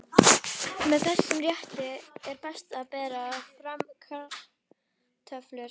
Með þessum rétti er best að bera fram kartöflur.